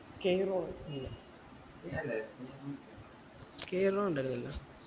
ഉണ്ടായിരുന്നില്ല